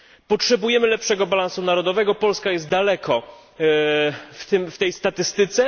Potrzebujemy lepszego balansu narodowego, Polska jest daleko w tej statystyce.